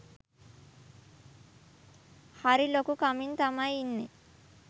හරි ලොකු කමින් තමයි ඉන්නේ